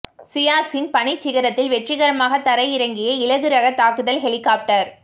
சியாச்சின் பனிச் சிகரத்தில் வெற்றிகரமாக தரையிறங்கிய இலகு ரக தாக்குதல் ஹெலிகாப்டர்